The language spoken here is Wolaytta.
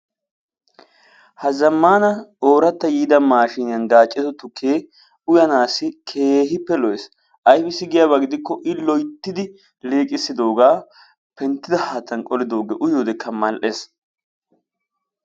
Ha zamaana ooratta yiida maashshinniyan gaaccissiddo tuke uyanaassi keehippe lo'es ayibissi giyaaba gidikko i loyittidi liiqissidoogaa penttissido haattan qolidoogee uyiyoodekka mal'ees